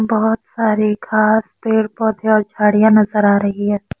बहोत सारी खाद पेड़ पौधे और झाड़ियां नजर आ रही है।